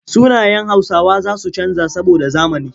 Sunayen Hausawa za su canja saboda zamani.